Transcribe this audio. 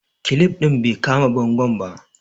kilip din bai kama bangon ba